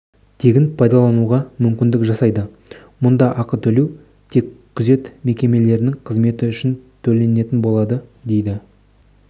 тегін пайдалануға мүмкіндік жасайды мұнда ақы төлеу тек күзет мекемелерінің қызметі үшін төленетін болады деді